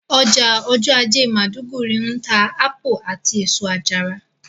Ọjà ọjọ́ ajé maiduguri ń ta ápù àti èso àjàrà